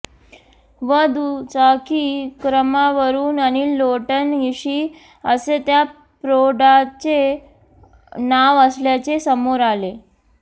व दुचाकी क्रमांकावरून अनिल लोटन ईशी असे त्या प्रौढाचे नाव असल्याचे समोर आले